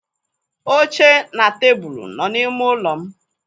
Oche na tebụl nọ n'ime ụlọ m.